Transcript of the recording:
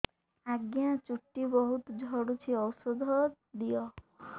ଆଜ୍ଞା ଚୁଟି ବହୁତ୍ ଝଡୁଚି ଔଷଧ ଦିଅ